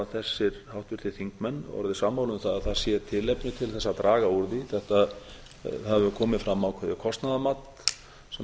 orðið sammála um það að það sé tilefni til þess að draga úr því það hefur komið fram ákveðið kostnaðarmat sem